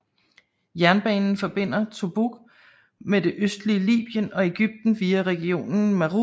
Jernbanen forbinder Tobruk med det østlige Liben og Egypten via regionen Matruh